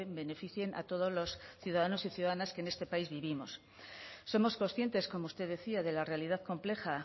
beneficien a todos los ciudadanos y ciudadanas que en este país vivimos somos conscientes como usted decía de la realidad compleja